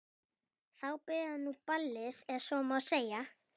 Þá byrjaði nú ballið ef svo má segja.